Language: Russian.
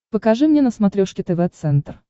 покажи мне на смотрешке тв центр